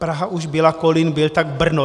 Praha už byla, Kolín byl, tak Brno.